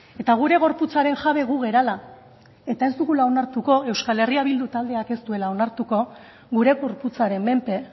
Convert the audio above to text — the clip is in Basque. eta gure gorputzaren jabe gu garela eta ez dugula onartuko euskal herria bildu taldeak ez duela onartuko gure gorputzaren menpe